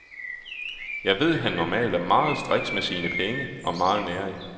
Jeg ved han normalt er meget striks med sine penge og meget nærig.